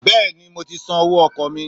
Béèni mo ti san owó ọkọ̀ mi